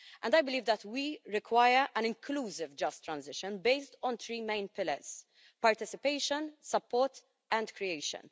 I believe that we require an inclusive Just Transition based on three main pillars participation, support and creation.